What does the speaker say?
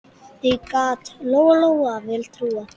Því gat Lóa-Lóa vel trúað.